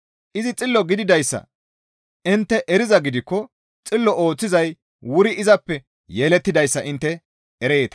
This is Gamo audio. Izi xillo gididayssa intte erizaa gidikko xillo ooththizay wuri izappe yelettidayssa intte ereeta.